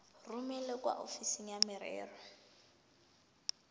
romele kwa ofising ya merero